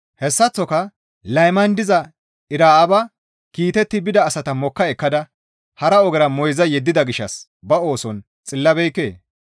Hessaththoka layman diza Era7aaba kiitetti bida asata mokka ekkada hara ogera moyza yeddida gishshas ba ooson xillabeekkee?